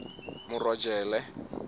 morojele